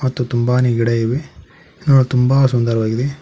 ಮತ್ತು ತುಂಬಾನೇ ಗಿಡ ಇವೆ ನೋಡಲು ತುಂಬ ಸುಂದರವಾಗಿದೆ.